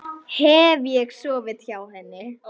Hef ég sofið hjá henni?